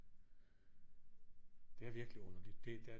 Det er virkelig underligt det der